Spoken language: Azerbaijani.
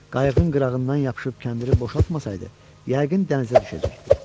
Qayığın qırağından yapışıb kəndiri boşaltmasaydı, yəqin dənizə düşəcəkdi.